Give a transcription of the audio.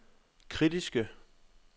kritiske